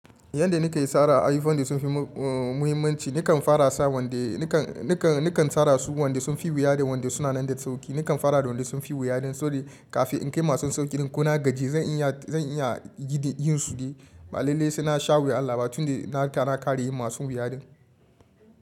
Yanda nika yi sara, ayi fandin sun fi muhimmmanci. Nikan fara sa wanda nikan, nikan, nikan sara su wanda sunfi wuya da wanda suna nan da sauƙi. Nikan fara da wanda sunfi wuya don kaf in kai masu sauƙin, ko na gaji zan iya, zan iya gida yin su. Malalalai suna sha wuya, Allah ba tunda na tara kare yin masu wuya din.